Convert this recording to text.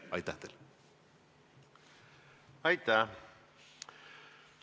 Aitäh!